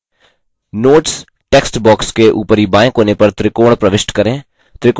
notes text box के ऊपरीबाएँ कोने पर त्रिकोण प्रविष्ट करें